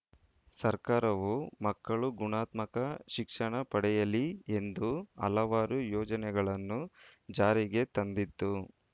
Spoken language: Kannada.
ಸರ್ಕಾರವು ಮಕ್ಕಳು ಗುಣಾತ್ಮಕ ಶಿಕ್ಷಣ ಪಡೆಯಲಿ ಎಂದು ಹಲವಾರು ಯೋಜನೆಗಳನ್ನು ಜಾರಿಗೆ ತಂದಿದ್ದು